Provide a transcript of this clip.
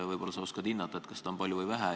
Võib-olla sa oskad hinnata, kas seda on palju või vähe.